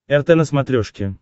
рт на смотрешке